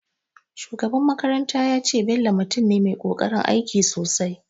Shugaban makaranta ya ce, Bello mutum ne mai ƙoƙarin aiki sosai